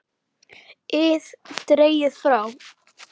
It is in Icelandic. ið dregið frá.